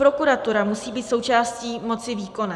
Prokuratura musí být součástí moci výkonné.